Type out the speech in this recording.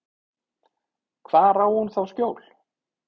Hvar á hún þá skjól?